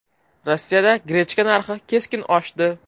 Rossiyada grechka narxi keskin oshdi.